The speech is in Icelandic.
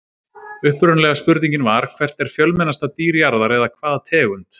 Upprunalega spurningin var: Hvert er fjölmennasta dýr jarðar eða hvaða tegund?